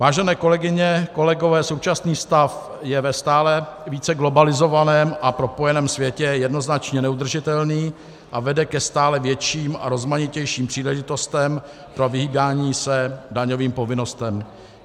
Vážené kolegyně, kolegové, současný stav je ve stále více globalizovaném a propojeném světě jednoznačně neudržitelný a vede ke stále větším a rozmanitějším příležitostem pro vyhýbání se daňovým povinnostem.